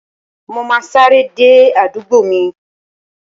Mo ma sáré dé àdúgbò mi.